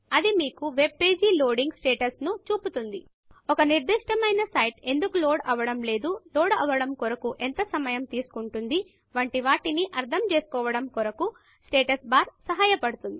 అది మీకు web page loading status ను చూపుతుంది ఒక నిర్దిష్టమైన సైట్ ఎందుకు లోడ్ అవ్వడము లేదు లోడ్ అవ్వడము కొరకు ఎంత సమయం తీసుకుంటుంది వంటి వాటిని అర్థం చేసుకోవడం కొరకు స్టేటస్ బార్ సహాయపడుతుంది